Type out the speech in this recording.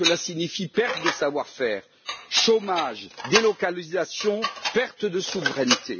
Parce que cela signifie perte de savoir faire, chômage, délocalisation et perte de souveraineté.